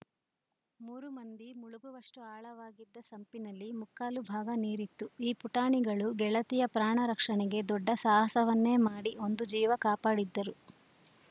ಮೂರು ಮಂದಿ ಮುಳುಗುವಷ್ಟುಆಳವಾಗಿದ್ದ ಸಂಪಿನಲ್ಲಿ ಮುಕ್ಕಾಲು ಭಾಗ ನೀರಿತ್ತು ಈ ಪುಟಾಣಿಗಳು ಗೆಳತಿಯ ಪ್ರಾಣ ರಕ್ಷಣೆಗೆ ದೊಡ್ಡ ಸಾಹಸವನ್ನೇ ಮಾಡಿ ಒಂದು ಜೀವ ಕಾಪಾಡಿದ್ದರು